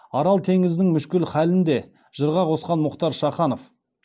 арал теңізінің мүшкіл халін де жырға қосқан мұхтар шаханов